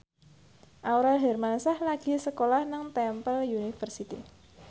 Aurel Hermansyah lagi sekolah nang Temple University